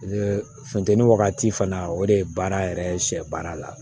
funteni wagati fana o de ye baara yɛrɛ ye sɛ baara la